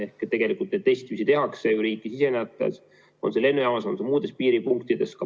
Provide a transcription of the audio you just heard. Ja tegelikult testimist riiki sisenejatel ju tehakse, on see lennujaamas, on see muudes piiripunktides.